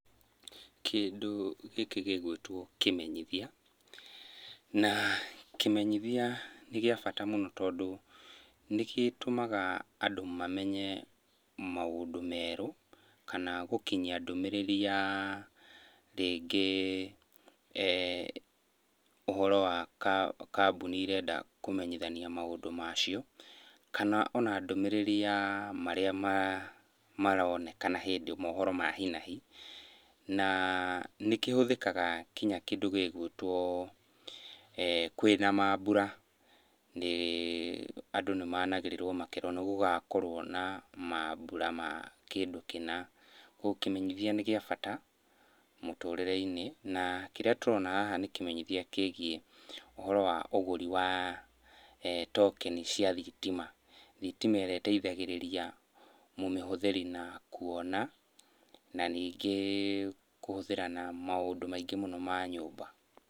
Kĩndũ gĩkĩ gĩgwĩtwo kĩmenyithia, na kĩmenyithia nĩ kĩa bata mũno, tondũ nĩgĩtũmaga andũ mamenye maũndũ merũ kana gũkinyia ndũmĩrĩri ya rĩngĩ ũhoro wa kambũni irenda kũmenyithania maũndũ macio. Kana ona ndũmĩrĩri ya marĩa maronekana hĩndĩ mohoro ma hi na hi. Na nĩkĩhũthĩkaga kinya kĩndũ gĩgwĩtwo kwĩna mambura, nĩ andũ nĩmanagĩrĩrwo makerwo nĩgũgakorwo na mambũra ma kũndũ kĩna. Koguo kĩmenyithia nĩ kĩa bata mũtũrĩre-inĩ. Na kĩrĩa tũrona haha nĩ kĩmenyithia kĩgiĩ ũhoro wa ũgũri wa tokeni cia thitima. Thitima ĩrĩa ĩteithagĩrĩria mũmĩhũthĩri na kuona, na ningĩ kũhũthĩra na maũndũ maingĩ mũno ma nyũmba.